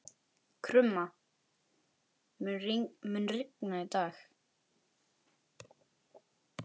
Krumma, mun rigna í dag?